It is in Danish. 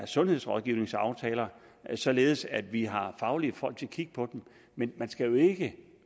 sundhedsrådgivningsaftaler således at vi har faglige folk til at kigge på dem men man skal jo ikke